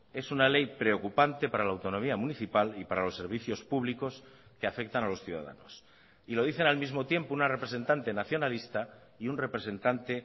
es una ley preocupante para la autonomía municipal y para los servicios públicos que afectan a los ciudadanos y lo dicen al mismo tiempo una representante nacionalista y un representante